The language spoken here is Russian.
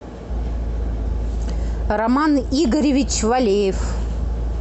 роман игоревич валеев